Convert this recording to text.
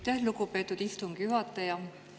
Aitäh, lugupeetud istungi juhataja!